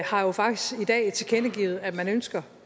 har jo faktisk i dag tilkendegivet at man ønsker